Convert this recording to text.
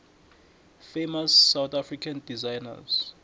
famous south african designers